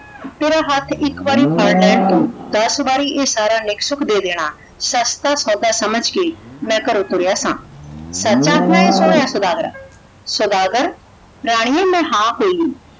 ਤੇਰਾ ਹੱਥ ਇੱਕ ਵਾਰੀ ਫੜ ਲੈਣ ਤੋਂ ਦੱਸ ਵਾਰੀ ਇਹ ਸਾਰਾ ਨਿੱਕ ਸੁੱਖ ਦੇ ਦੇਣਾ। ਸਸਤਾ ਸੌਦਾ ਸਮਝ ਕੇ ਮੈ ਘਰੋਂ ਤੁਰਿਆ ਸਾਂ। ਸੱਚ ਆਖਦਾ ਹੈ ਸੋਹਣਿਆਂ ਸੌਦਾਗਰਾ? ਸੌਦਾਗਰ ਰਾਣੀਏ ਮੈਂ ਹਾਂ ਕੋਈ